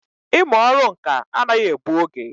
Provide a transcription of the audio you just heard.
Ị mụ ọrụ ǹkà anaghị egbụ oge